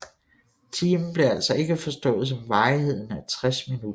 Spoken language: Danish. Timen blev altså ikke forstået som varigheden af 60 minutter